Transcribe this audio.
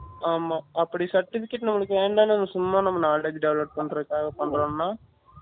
ஆமா அப்படி certificate உனக்கு வேணாம் ன்னா நம்ம சும்மா knowledge develop பன்றதுக்காக பண்ணிரோம் ன்னா